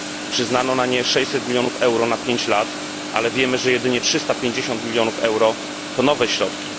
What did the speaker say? Przyznano na nie 600 milionów euro na pięć lat, ale wiemy, że jedynie 350 milionów euro to nowe środki.